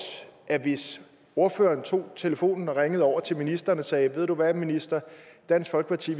at hvis ordføreren tog telefonen og ringede over til ministeren og sagde at ved du hvad minister dansk folkeparti